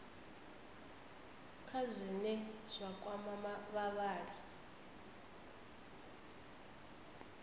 kha zwine zwa kwama vhavhali